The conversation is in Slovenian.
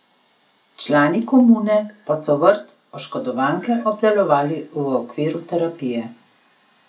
Člani komune pa so vrt oškodovanke obdelovali v okviru terapije.